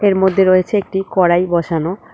এর মধ্যে রয়েছে একটি কড়াই বসানো।